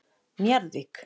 Njarðvík